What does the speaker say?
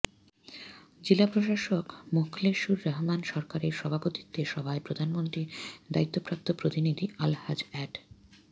জেলা প্রশাসক মোখলেসুর রহমান সরকারের সভাপতিত্বে সভায় প্রধানমন্ত্রীর দায়িত্বপ্রাপ্ত প্রতিনিধি আলহাজ্জ অ্যাড